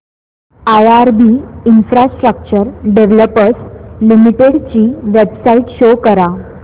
IRB infrastructure developers limited ची website show करा